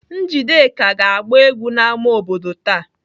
Njideka ga-agba egwu n'ámá obodo taa.